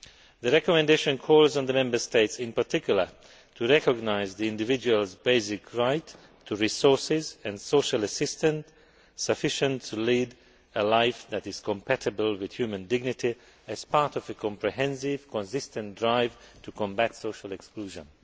The recommendation calls on the Member States in particular to recognise the individual's basic right to resources and social assistance sufficient to lead a life that is compatible with human dignity as part of a comprehensive, consistent drive to combat social exclusion'.